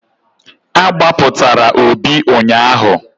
A gbapụtara Obi ụnyaahụ.